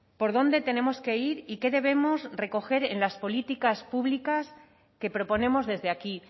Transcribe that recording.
por dónde tenemos que ir y qué debemos recoger en las políticas públicas que proponemos desde aquí